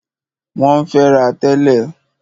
Wọ́n ń fẹ́ra tẹ́lẹ̀.